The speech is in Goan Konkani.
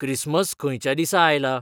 क्रिस्मस खंयच्या दिसा आयला?